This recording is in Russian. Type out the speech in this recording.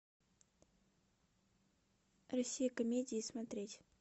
россия комедии смотреть